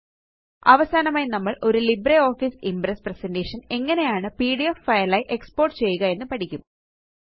അവസാനമായി നമ്മള് ഒരു ലിബ്രിയോഫിസിംപ്രസ്പ്രസന്റ്റേഷൻറ്റ്റേഷൻറ്റ്റ്റ്റേഷൻ എങ്ങനെയാണ് പിഡിഎഫ് ഫൈൽ ആയി എക്സ്പോർട്ട് ചെയ്യുക എന്ന് പഠിക്കും